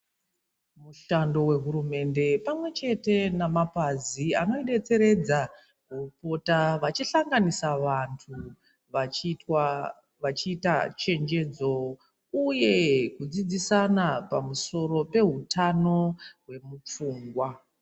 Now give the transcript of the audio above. Mushando wehurumende pamwe chete namapazi anodetseredza vopota vachihlanganisa vantu vachiitwa vachiita chenjedzo uye kudzidzisana pamusoro pehutano hwemufungwa.